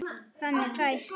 Þannig fæst